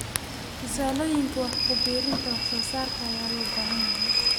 Tusaalooyinka wax ku biirinta wax soo saarka ayaa loo baahan yahay.